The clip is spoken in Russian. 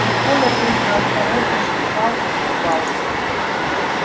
и коля только осторожно вздыхал и улыбался